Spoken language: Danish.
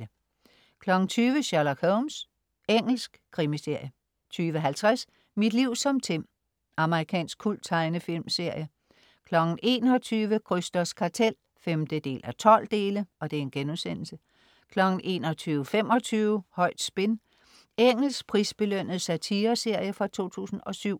20.00 Sherlock Holmes. Engelsk krimiserie 20.50 Mit liv som Tim. Amerikansk kulttegnefilmsserie 21.00 Krysters kartel 5:12* 21.25 Højt spin. Engelsk prisbelønnet satireserie fra 2007